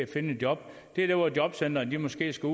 finde et job det er der hvor jobcentrene måske skal